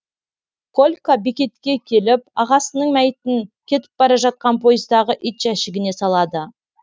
колька бекетке келіп ағасының мәйітін кетіп бара жатқан пойыздағы ит жәшігіне салады